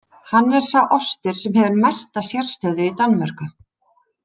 Hann er sá ostur sem hefur mesta sérstöðu í Danmörku.